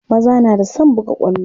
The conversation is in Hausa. maza na da San buga kwallo